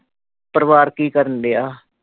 ਪਰਿਵਾਰ ਕੀ ਕਰਨ ਦਿਆਂ?